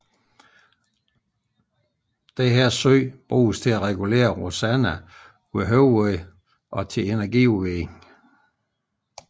Denne sø bruges til at regulere Rosanna ved højvande og til energiudvinding